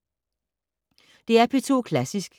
DR P2 Klassisk